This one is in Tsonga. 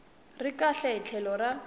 ri kahle hi tlhelo ra